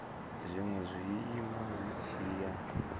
zwinwe zwiiimo zwi tshi ya